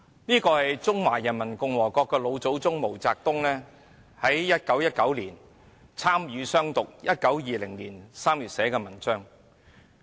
這是中華人民共和國的老祖宗毛澤東在1919年參與"湘獨"，其後在1920年3月寫的文章。